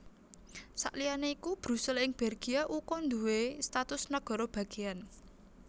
Saliyané iku Brusel ing Belgia uga nduwé status nagara bagéyan